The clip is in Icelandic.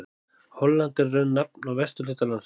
Holland er í raun nafn á vesturhluta landsins.